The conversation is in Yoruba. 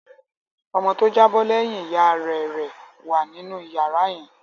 Ọmọ tó jábọ́ lẹ́yìn ìyá rẹ̀ rẹ̀ wà nínú ìyàrá yẹn.